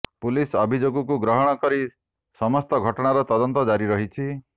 police ଅଭିଯୋଗକୁ ଗ୍ରହଣ କରି ସମସ୍ତ ଘଟଣାର ତଦନ୍ତ ଜାରି ରହିଛି